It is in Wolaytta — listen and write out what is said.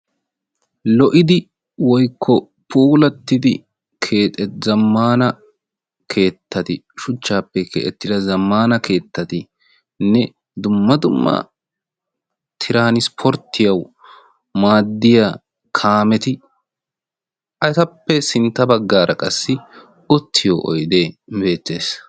lo''idi woykko poulattidi keexe zammaana keettati shuchchaappe keettida zammaana keettatinne dumma dummaa tiraanispporttiyawu maaddiya kaameti etappe sintta baggaara qassi ottiyo oyde beettees